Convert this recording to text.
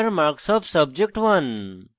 enter marks of subject1